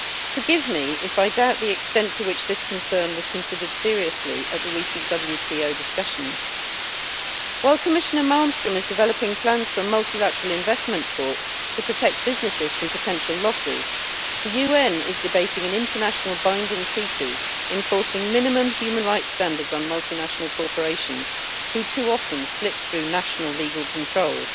Forgive me if I doubt the extent to which this concern was considered seriously at the recent WTO discussions. While Commissioner Malmström is developing plans for a Multilateral Investment Court to protect businesses from potential losses, the UN is debating an international binding treaty enforcing minimum human rights standards on multinational corporations, who too often slip through national legal controls.